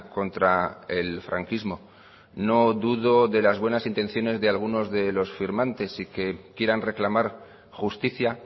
contra el franquismo no dudo de las buenas intenciones de algunos de los firmantes y que quieran reclamar justicia